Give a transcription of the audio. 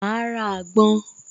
Máa ra àgbon